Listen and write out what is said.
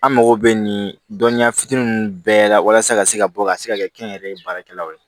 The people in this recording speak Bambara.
An mago bɛ nin dɔnniya fitinin ninnu bɛɛ la walasa ka se ka bɔ ka se ka kɛ kɛnyɛrɛye baarakɛlaw ye